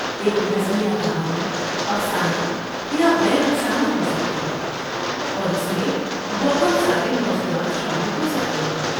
ایک نظمیہ کہانی افسانہ یا غیر افسانہ ہوسکتی ہے، اور اس میں بہت سارے موضوعات شامل ہوسکتے ہیں۔